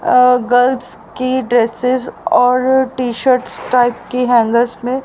girls की dresses और T shirts type की हैंगर्स में--